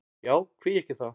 Já, hví ekki það?